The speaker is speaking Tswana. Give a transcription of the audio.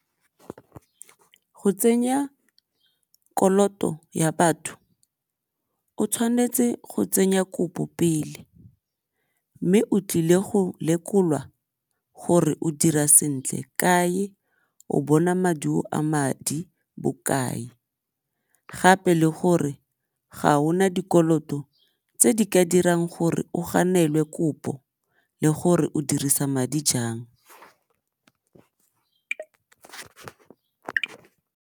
Go tsenya koloto ya batho o tshwanetse go tsenya kopo pele mme o tlile go lekolwa gore o dira sentle kae, o bona maduo a madi bokae, gape le gore ga ona dikoloto tse di ka dirang gore o ganelwe kopo le gore o dirisa madi jang.